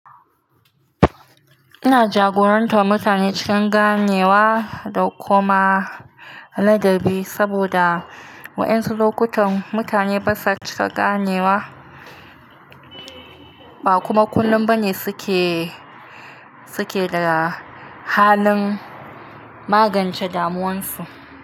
Ina jagorantar mutane cikin ganewa da kuma ladabi saboda waɗansu lokutan mutane basa cika ganewa, ba kuma kullum bane suke, suke da halin magance damuwansu.